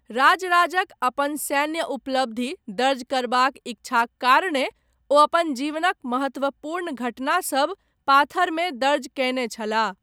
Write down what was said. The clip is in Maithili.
राजराजक अपन सैन्य उपलब्धि दर्ज करबाक इच्छाक कारणेँ, ओ अपन जीवनक महत्वपूर्ण घटनासभ पाथरमे दर्ज कयने छलाह।